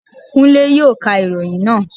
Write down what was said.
Kúnlé yóò ka ìròyìn naa